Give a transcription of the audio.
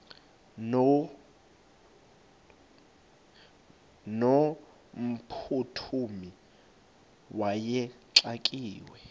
no mphuthumi wayexakiwe